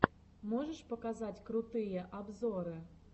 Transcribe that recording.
можешь показать крутые обзоры